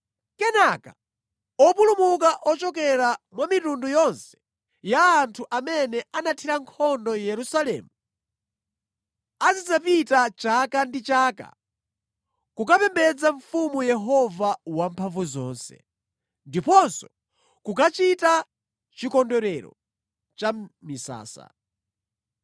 Kenaka opulumuka ochokera mwa mitundu yonse ya anthu amene anathira nkhondo Yerusalemu, azidzapita chaka ndi chaka kukapembedza Mfumu Yehova Wamphamvuzonse, ndiponso kukachita Chikondwerero cha Misasa.